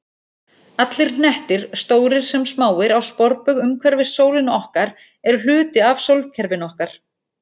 Allir hnettir, stórir sem smáir, á sporbaug umhverfis sólina okkar eru hluti af sólkerfinu okkar.